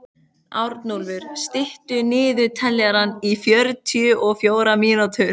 Arnúlfur, stilltu niðurteljara á fjörutíu og fjórar mínútur.